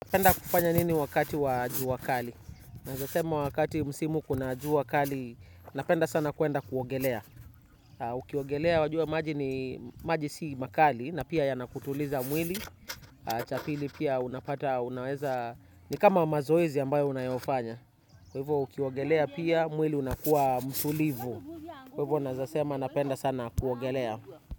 Napenda kufanya nini wakati wa jua kali? Naeza sema wakati msimu kuna jua kali, napenda sana kuenda kuogelea. Ukiogelea wajua maji si makali, na pia yanakutuliza mwili, cha pili pia unapata, unaweza, ni kama mazoezi ambayo unayofanya. Kwa hivyo, ukiogelea pia, mwili unakua mtulivu. Kwa hivyo, naeza sema napenda sana kuogelea.